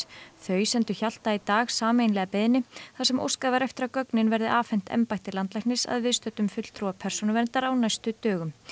þau sendu Hjalta í dag sameiginlega beiðni þar sem óskað var eftir að gögnin verði afhent embætti landlæknis að viðstöddum fulltrúa Persónuverndar á næstu dögum